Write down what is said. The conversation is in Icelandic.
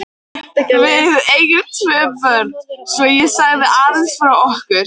Við eigum tvö börn, svo ég segi aðeins frá okkur.